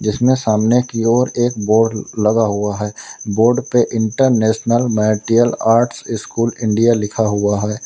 जिसमें सामने की ओर एक बोर्ड लगा हुआ है। बोर्ड पे international martial arts school India लिखा हुआ है।